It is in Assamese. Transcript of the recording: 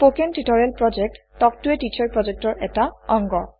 স্পকেন টিউটৰিয়েল প্ৰকল্প তাল্ক ত a টিচাৰ প্ৰকল্পৰ এটা অংগ